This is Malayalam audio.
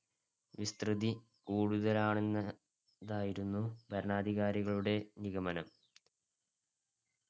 വിസ്‌തൃതി കൂടുതലാണെന്ന് ആയിരുന്നു ഭരണാധികാരികളുടെ നിഗമനം.